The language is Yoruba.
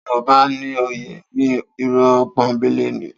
Tí mo bá ní ó yé mi, irọ́ pọ́nńbélé ni.